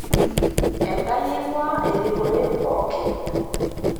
Enkai eing'uaa erikore pookin